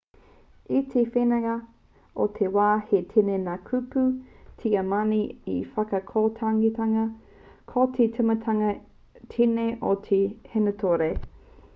i te wehenga o te wā he tini ngā kupu tiamani i whakakotahingia ko te timatanga tēnei o te hīnātore